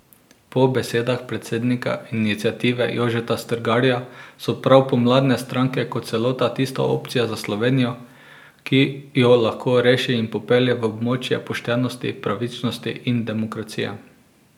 Po besedah predsednika iniciative Jožeta Strgarja so prav pomladne stranke kot celota tista opcija za Slovenijo, ki jo lahko reši in popelje v območje poštenosti, pravičnosti in demokracije.